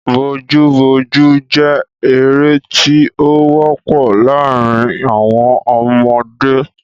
Bojú bojú jẹ́ eré tí ó wọ́pọ̀ láàrín àwọn ọmọdé.